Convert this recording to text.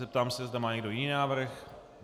Zeptám se, zda má někdo jiný návrh.